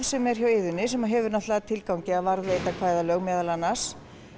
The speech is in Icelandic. sem er hjá Iðunni sem hefur það að tilgangi að varðveita kvæðalög meðal annars